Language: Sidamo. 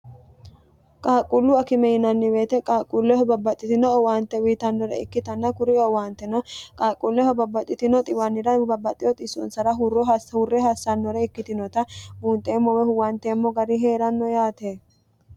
qaaqquullu akime yinanni woyiite qaaqquulleho babbaxxitino owaante uyitannore ikkitanna kuri owaante no qaaqquulleho babbaxxitino xiwannira xisoonsara huurre hassannore ikkitinota buunxeemmo woyi huwanteemmo gari hee'ranno yaate.